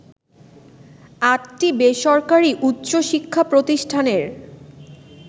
আটটি বেসরকারি উচ্চশিক্ষা প্রতিষ্ঠানের